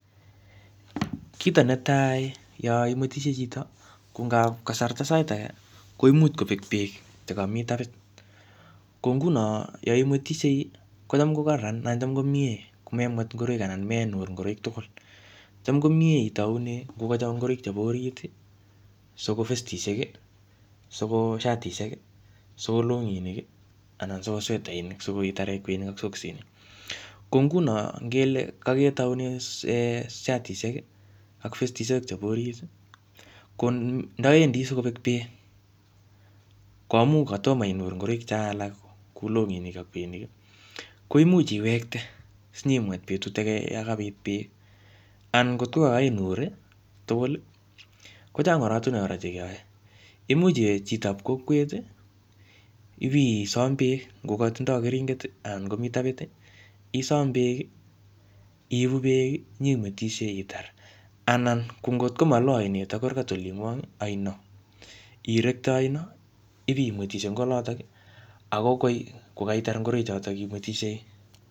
Kito netai, yoimwetishie chito, ko ngap kasarta sait age, koimuch kobek beek che kami tapit. Ko nguno, yoimwetishie, kocham ko kararan anan kocham komie komemwet ngoroik anan menur ngoroik tugul. Cham komyee itaune ngu kocho ngoroik chebo orit, siko vestishek, siko shatishek, siko longinik, anan siko swetainik, sikoi itare kweinik ak soksinik, Ko nguno, ngele kaketaune shatishek ak vestishek chebo orit, ko ndawendi sikobek beek, ko imuch katomo inur ngoroik cho alak kou longinik ak kweinik, koimuch iwektee, sinyimwet betut age yokobit beek. Anan ngot kakainur tugul, kochang oratunwek kora che keyae. Imuch iwe chitob kokwet, ipisom beek, ngo katindoi keringet, anan komii tapit, isom beek, iibu beek, nyimwetishe itar. Anan ko ngotko maloo ainet ak kurkat olingwong, oino, irektee oino, ipimwetishe ing olotok. Ako koi, kokaitar ngoroik chotok imwetishei.